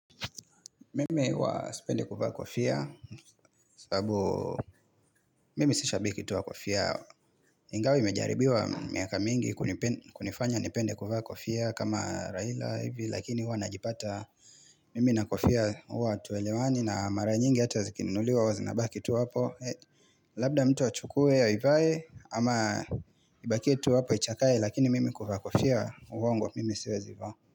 Mimi huwa sipendi kuvaa kofia sababu mimi sisha biki tuwa kofia Ingawa imejaribiwa miaka mingi kunifanya nipende kuvaa kofia kama Raila hivi lakini huwa najipata Mimi na kofia huwa hatuelewani na mara nyingi hata zikininuliwa huwa zi nabaki tu apo Labda mtu achukue ya ivae ama ibakie tu apo ichakae lakini mimi kuvaa kofia uongo mimi siwe zivaa.